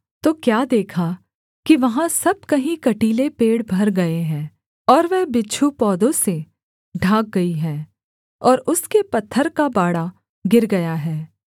तो क्या देखा कि वहाँ सब कहीं कटीले पेड़ भर गए हैं और वह बिच्छू पौधों से ढांक गई है और उसके पत्थर का बाड़ा गिर गया है